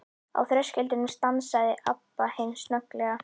Á þröskuldinum stansaði Abba hin snögglega.